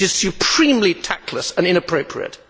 It is supremely tactless and inappropriate.